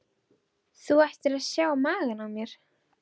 Þú ættir að sjá magann á mér.